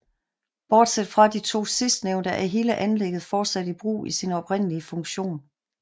Bortset fra de to sidstnævnte er hele anlægget fortsat i brug i sin oprindelige funktion